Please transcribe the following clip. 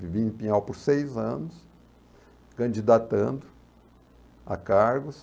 Vivi em Pinhal por seis anos, candidatando a cargos.